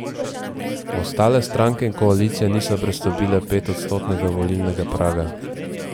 Ostale stranke in koalicije niso prestopile petodstotnega volilnega praga.